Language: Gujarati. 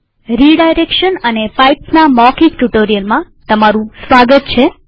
રીડાયરેક્શન અને પાઈપ્સના મૌખિક ટ્યુ્ટોરીઅલમાં સ્વાગત છે